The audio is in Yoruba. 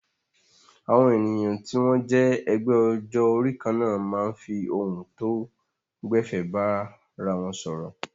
Àwọn ènìyàn tí wọ́n jẹ́ ẹgbẹ́ ọjọ́ orí kan náà máa ń fi ohun tó gbẹ̀fẹ̀ bára wọn sọ̀rọ̀.